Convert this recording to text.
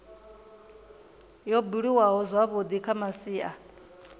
yo buliwaho zwavhui kha masia